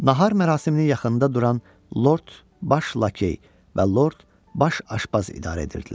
Nahar mərasiminin yaxınında duran Lord Baş Lakey və Lord Baş Aşpaz idarə edirdilər.